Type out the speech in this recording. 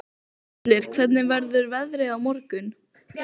Skellir, hvernig verður veðrið á morgun?